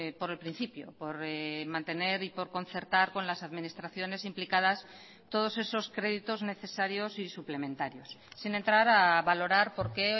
por el principio por mantener y por concertar con las administraciones implicadas todos esos créditos necesarios y suplementarios sin entrar a valorar por qué